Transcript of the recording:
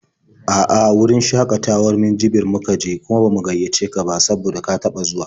A'a, wurin shakatawar Minjibir muka je, kuma ba mu gaiyace ka ba saboda ka taɓa zuwa.